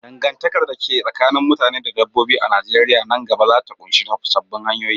Dangantakar da ke tsakanin mutane da dabbobi a Najeriya nan gaba za ta ƙunshi sabbin hanyoyi.